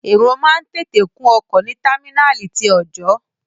Èrò máa ń tètè kún ọkọ̀ ní támínàlí ti ọọ̀jọ́.